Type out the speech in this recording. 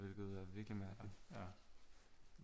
Hvilket er virkelig mærkeligt